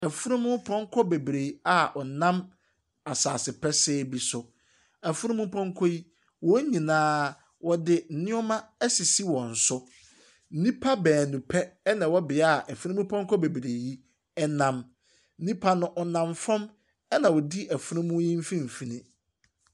Afurumpɔnkɔ bebree a wɔnam asaase pɛsɛɛ bi so, afurumpɔnkɔ yi, wɔn nyina wɔde nneɛma asisi wɔn so. Nnipa beenu pɛ na ɛwɔ bea a afurumpɔnkɔ bebrebee yi nam. Nnipa no nam fam na odi afurum no mfimfin.